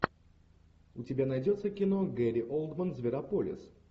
у тебя найдется кино гэри олдмен зверополис